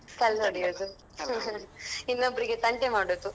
ಇನ್ನೊಬ್ರಿಗೆ ತಂಟೆ ಮಾಡುದು.